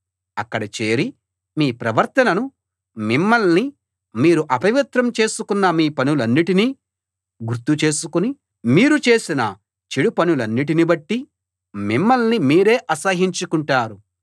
అక్కడ చేరి మీ ప్రవర్తనను మిమ్మల్ని మీరు అపవిత్రం చేసుకున్న మీ పనులన్నిటినీ గుర్తు చేసుకుని మీరు చేసిన చెడుపనులన్నిటిని బట్టి మిమ్మల్ని మీరే అసహ్యించుకుంటారు